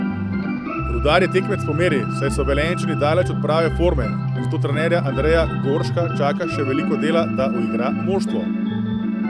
Rudar je tekmec po meri, saj so Velenjčani daleč od prave forme, zato trenerja Andreja Gorška čaka še veliko dela, da uigra moštvo.